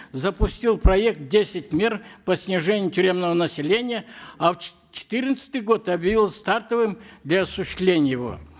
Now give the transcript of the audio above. запустил проект десять мер по снижению тюремного населения а в четырнадцатый год объявил стартовым для осуществления его